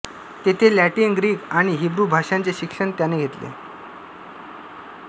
तेथे Latin Greek आणि Hebrew भाषांचे शिक्षण त्याने घेतले